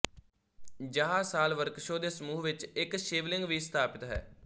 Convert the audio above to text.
ਯਹਾ ਸਾਲ ਵ੍ਰਕਸ਼ੋ ਦੇ ਸਮੂਹ ਵਿੱਚ ਇੱਕ ਸ਼ਿਵਲਿੰਗ ਵੀ ਸਥਾਪਤ ਹੈ